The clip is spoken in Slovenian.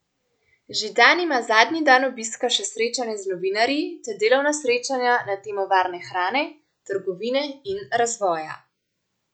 Židan ima zadnji dan obiska še srečanje z novinarji ter delovna srečanja na temo varne hrane, trgovine in razvoja.